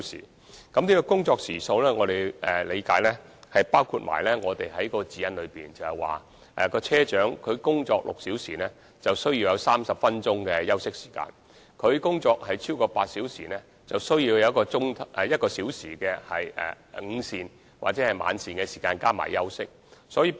以我理解，這工作時數包括《指引》所規定，車長工作6小時後應有30分鐘的休息時間，而工作超過8小時便應有1小時的午膳或晚膳時間及休息時間。